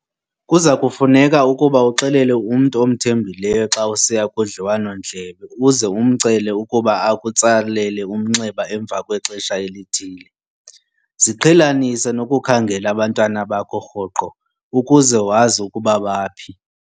Kuza kufuneka ukuba uxelele umntu omthembileyo xa usiya kudliwano-ndlebe uze umcele ukuba akutsalele umnxeba emva kwexesha elithile. Ziqhelanise nokukhangela abantwana bakho rhoqo, ukuze wazi ukuba baphi.